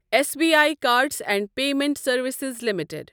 Sibi cards and payment services limited